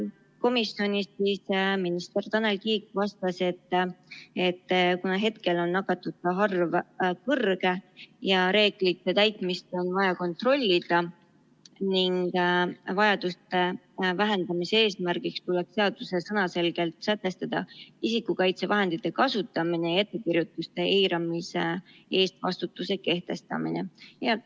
Komisjonis minister Tanel Kiik vastas, et kuna hetkel on nakatunute arv kõrge ja reeglite täitmist on vaja kontrollida, siis vaidluste vähendamise eesmärgil tuleb seaduses sõnaselgelt sätestada isikukaitsevahendite kasutamine ja ettekirjutuste eiramise eest vastutuse kehtestamine.